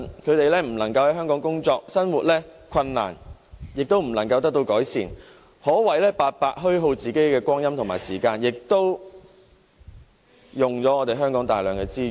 他們不能在香港工作，生活困難亦不能得到改善，可謂白白虛耗光陰，亦會耗費香港大量資源。